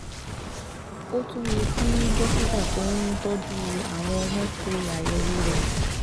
Ó tún yẹ kí dókítà tó ń tọ́jú àwọn ọmọ ṣe àyẹ̀wò rẹ̀